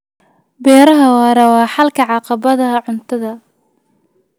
Beeraha waara waa xalka caqabadaha cuntada.